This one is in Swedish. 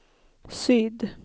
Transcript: syd